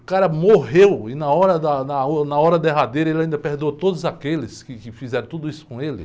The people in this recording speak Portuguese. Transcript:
O cara morreu e na hora da, da, uh, na hora derradeira ele ainda perdoou todos aqueles que, que fizeram tudo isso com ele.